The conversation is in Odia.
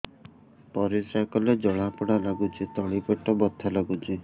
ପରିଶ୍ରା କଲେ ଜଳା ପୋଡା ଲାଗୁଚି ତଳି ପେଟ ବଥା ଲାଗୁଛି